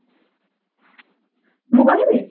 ମୁଁ କହିବି